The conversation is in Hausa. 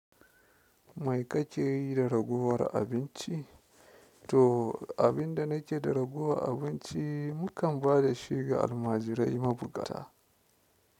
Mai kake yi da ragowar abinci? To, abinda nake da raguwar abinci mukan ba da shi ga almajirai mabuƙata.